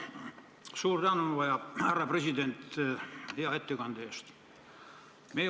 Suur tänu, härra Eesti Panga president, hea ettekande eest!